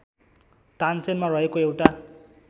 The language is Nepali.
तानसेनमा रहेको एउटा